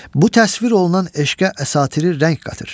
Bu təsvir olunan eşqə əsatiri rəng qatır.